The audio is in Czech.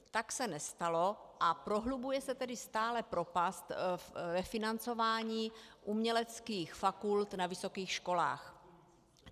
Tak se nestalo, a prohlubuje se tedy stále propast ve financování uměleckých fakult na vysokých školách.